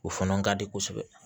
O fana ka di kosɛbɛ